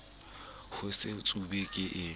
ho se tsube ke e